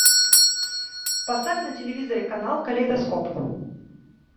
поставь на телевизоре канал калейдоскоп